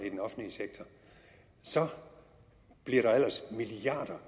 i den offentlige sektor så bliver der ellers milliarder